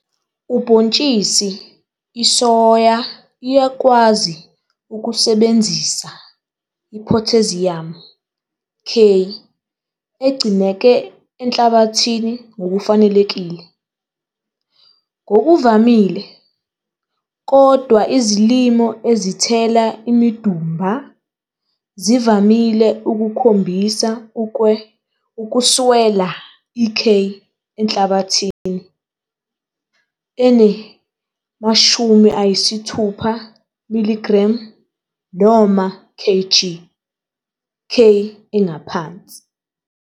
Ubhontshisi isoya iyakwazi ukusebenzisa iphotheziyamu, K, egcineke enhlabathini ngokufanelekile. Ngokuvamile, kodwa izilimo ezithela imidumba zivamile ukukhombisa ukuswela i-K enhlabathini ene-60 mg noma kg K engaphansi.